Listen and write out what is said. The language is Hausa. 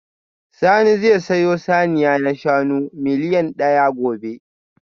Sani zai sayo saniya na shanu miliyan daya gobe